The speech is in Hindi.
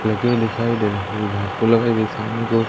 लगे हुए दिखाई दे रहे हैं घास सामने--